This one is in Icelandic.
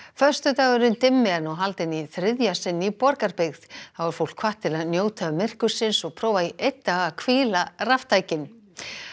föstudagurinn dimmi er nú haldinn í þriðja sinn í Borgarbyggð þá er fólk hvatt til að njóta myrkursins og prófa í einn dag að hvíla raftækin